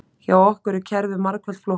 Hjá okkur er kerfið margfalt flóknara